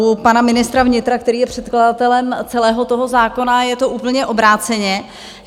U pana ministra vnitra, který je předkladatelem celého toho zákona, je to úplně obráceně.